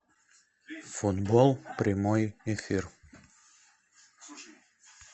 футбол прямой эфир